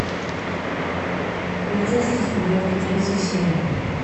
полицейский с рублевки третья серия